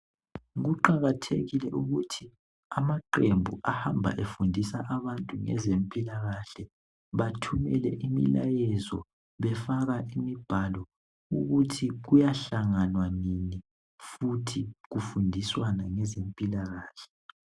Kuqakathekile ukuthi amaqembu ahamba efundisa abantu ngezempilakahle bathumele imilayezo befaka imibhalo ukuthi kuyahlanganwa nini futhi kufundiswana ngezempilakahle.